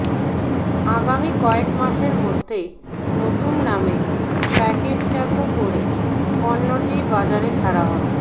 আগামী কয়েক মাসের মধ্যেই নতুন নামে প্যাকেটজাত করে পণ্যটি বাজারে ছাড়া হবে